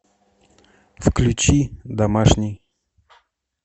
включи домашний